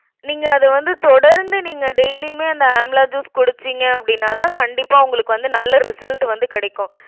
நீங்க அது வந்து தொடர்ந்து நீங்க daily யுமே அந்த amla juice குடிச்சீங்க அப்டின்னாதான் கண்டிப்பா உங்களுக்கு வந்து நல்ல result வந்து கிடைக்கும்.